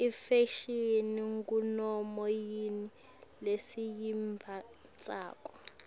ifashini ngunoma yini lesiyimbatsako